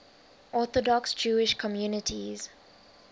orthodox jewish communities